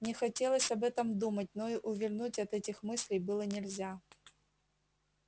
не хотелось об этом думать но и увильнуть от этих мыслей было нельзя